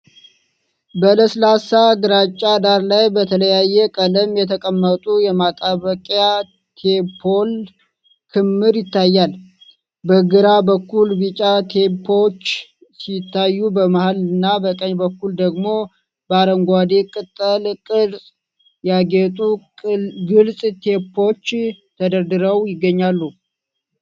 በለስላሳ ግራጫ ዳራ ላይ በተለያየ ቀለም የተቀመጡ የማጣበቂያ ቴፖች ክምር ይታያል። በግራ በኩል ቢጫ ቴፖች ሲታዩ፣ በመሃል እና በቀኝ በኩል ደግሞ በአረንጓዴ ቅጠል ቅርፅ ያጌጡ ግልፅ ቴፖች ተደርድረው ይገኛሉ።